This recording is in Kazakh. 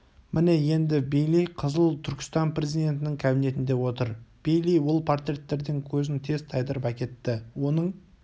міне енді бейли қызыл түркістан президентінің кабинетінде отыр бейли ол портреттерден көзін тез тайдырып әкетті оның